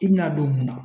I bɛna don mun na